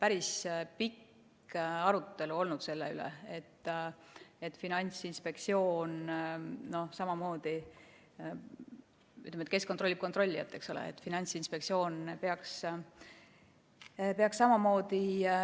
Päris pikk arutelu on olnud selle üle, et Finantsinspektsioon peaks samamoodi – kes kontrollib kontrollijat, eks ole –